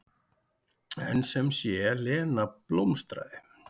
En sem sé, Lena blómstraði.